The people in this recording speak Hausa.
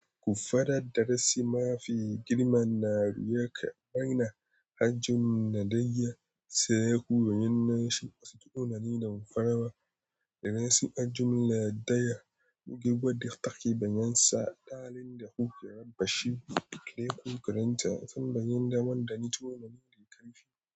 Kuffadar darasi mafi girma na ruyaƙa maina, hajjun na daiya, sai ku yinnashi wasu tunanin na farawa. Idan suka jumla daiya, buga gwadi taki bayan sa, dalilin da kuke rabashi, da yakan karanta tambayin da wanda nitso na nuni karfi.